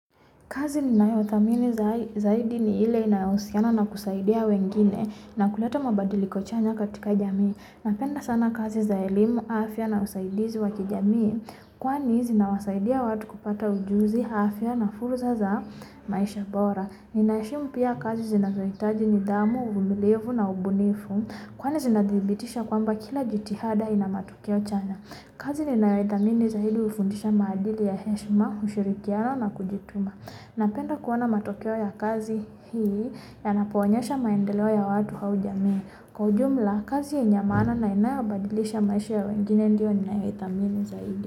Kazi ninayodhamini zaidi ni ile inayohusiana na kusaidia wengine na kuleta mabadiliko chanya katika jamii. Napenda sana kazi za elimu afya na usaidizi wa kijamii Kwani zinawasaidia watu kupata ujuzi afya na fursa za maisha bora. Ninaheshimu pia kazi zinazohitaji nidhamu, uvumilivu na ubunifu Kwani zinadhibitisha kwamba kila jitihada ina matokeo chanya. Kazi ninayoithamini zaidi hufundisha maadili ya heshima, ushirikiano na kujituma. Napenda kuona matokeo ya kazi hii yanapoonyesha maendeleo ya watu au jamii Kwa ujumla kazi yenye ya maana na inayobadilisha maisha ya wengine ndiyo ninayothamini zaidi.